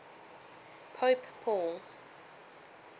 pope paul